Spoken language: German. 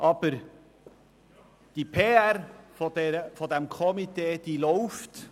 Aber die PR dieses Komitees läuft.